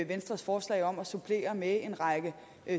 venstres forslag om at supplere med en række